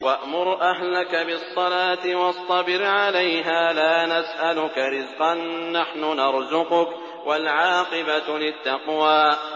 وَأْمُرْ أَهْلَكَ بِالصَّلَاةِ وَاصْطَبِرْ عَلَيْهَا ۖ لَا نَسْأَلُكَ رِزْقًا ۖ نَّحْنُ نَرْزُقُكَ ۗ وَالْعَاقِبَةُ لِلتَّقْوَىٰ